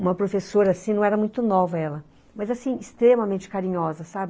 Uma professora assim, não era muito nova ela, mas assim, extremamente carinhosa, sabe.